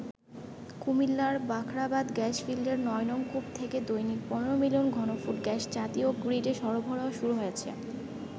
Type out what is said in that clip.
কুমিল্লার বাখরাবাদ গ্যাস ফিল্ডের ৯নং কূপ থেকে দৈনিক ১৫ মিলিয়ন ঘনফুট গ্যাস জাতীয় গ্রীডে সরবরাহ শুরু হয়েছে।